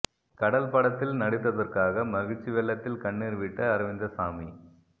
கடல் படத்தில் நடித்ததற்காக மகிழ்ச்சி வெள்ளத்தில் கண்ணீர் விட்ட அரவிந்தசாமி